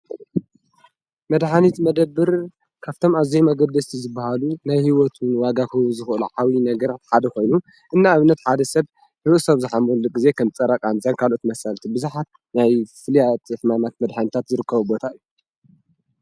መድኃኒት መደብር ካብቶም ኣዘይ መገደስቲ ዝበሃሉ ናይ ሕይወቱንዋጋኽብ ዝዂሎ ሓዊ ነገርሓደ ኾይኑ እና እብነት ሓደ ሰብ ሕወ ሰብ ዝኃምሉ ጊዜ ኸም ጸራቕ ንዘንካልኦት መሣልቲ ብስኃ ናይ ፍልያት የፍማማት መድኃንታት ዝርከዊ ቦታ እዩ።